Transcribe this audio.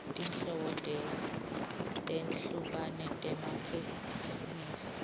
tinhlobo letehlukene tematheksthi